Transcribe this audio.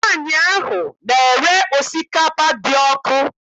Nwaanyị ahụ na-ere osikapa dị ọkụ.